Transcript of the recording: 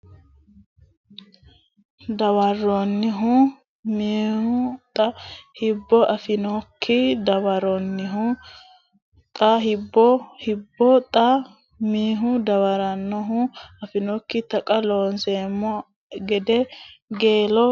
dawarannohu mihu xa Hibbo afannokki dawarannohu mihu xa Hibbo Hibbo xa mihu dawarannohu afannokki Taqa Looseemmo a gede Geelo geeshshi !